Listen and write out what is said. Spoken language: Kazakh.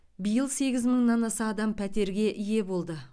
биыл сегіз мыңнан аса адам пәтерге ие болды